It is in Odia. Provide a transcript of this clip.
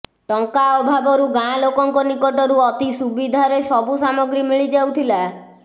ଟଙ୍କା ଅଭାବରୁ ଗାଁ ଲୋକଙ୍କ ନିକଟରୁ ଅତି ସୁବିଧାରେ ସବୁ ସାମଗ୍ରୀ ମିଳିଯାଉଥିଲା